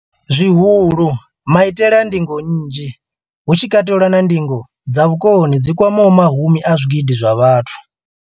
Zwihulu, maitele a ndingo nnzhi, hu tshi katelwa na ndingo dza vhukoni dzi kwamaho mahumi a zwigidi zwa vhathu.